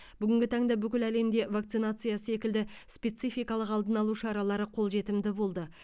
бүгінгі таңда бүкіл әлемде вакцинация секілді спецификалық алдын алу шаралары қолжетімді болды